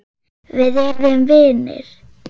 Við urðum vinir.